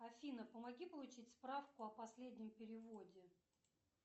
афина помоги получить справку о последнем переводе